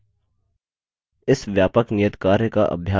इस व्यापक नियतकार्य का अभ्यास करें